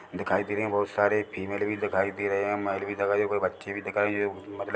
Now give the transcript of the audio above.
दिखाई दे रहे है बहोत सारे फीमेल भी दिखाई दे रहे है मेल भी दिखाई दे कोई बच्चे भी दिखाई दे मतलब --